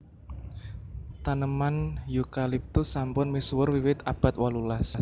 Taneman Eucalyptus sampun misuwur wiwit abad wolulas